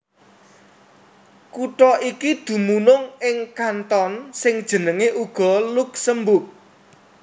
Kutha iki dumunung ing kanton sing jenengé uga Luksemburg